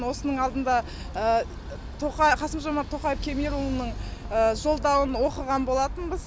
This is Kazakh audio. осының алдында қасым жомарт тоқаев кемелұлының жолдауын оқыған болатынбыз